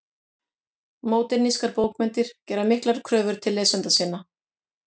Módernískar bókmenntir gera miklar kröfur til lesenda sinna.